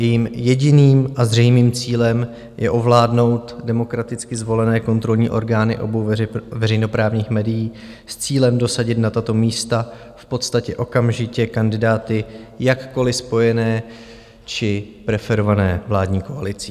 Jejím jediným a zřejmým cílem je ovládnout demokraticky zvolené kontrolní orgány obou veřejnoprávních médií s cílem dosadit na tato místa v podstatě okamžitě kandidáty jakkoli spojené či preferované vládní koalicí.